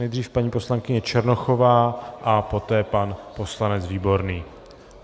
Nejdřív paní poslankyně Černochová a poté pan poslanec Výborný.